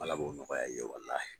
Ala k'o nɔgɔya ni ye walahi.